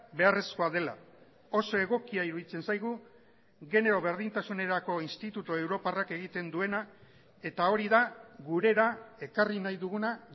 beharrezkoa dela oso egokia iruditzen zaigu genero berdintasunerako institutu europarrak egiten duena eta hori da gurera ekarri nahi duguna